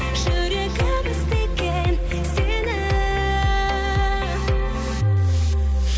жүрегім іздеген сені